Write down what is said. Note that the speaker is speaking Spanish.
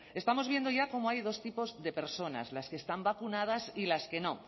estamos viendo ya cómo hay dos tipos de personas las que están vacunadas y las que no